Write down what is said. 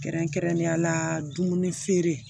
Kɛrɛnkɛrɛnnenya la dumuni feere